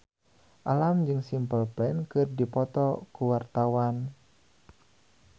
Alam jeung Simple Plan keur dipoto ku wartawan